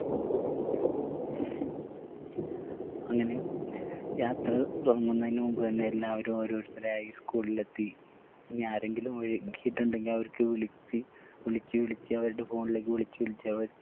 അങ്ങനെ യാത്ര തുടങ്ങുന്നേയിന് മുൻപ് തന്നെ എല്ലാവരും ഓരോരുത്തരായി school ൽ എത്തി നി ആരെങ്കിലും വിളിച്ചിട്ടുണ്ടെങ്കിൽ അവർക്ക് വിളിച്ച് വിളിച്ച് വിളിച്ച് അവരുടെ phone ലേക്ക് വിളിച്ച് വിളിച്ച് അവര്